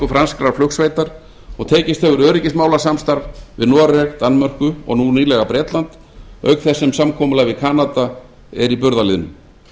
franskrar flugsveitar og tekist hefur öryggismálasamstarf við noreg danmörku og nú nýlega bretland auk þess sem samkomulag við kanada er í burðarliðnum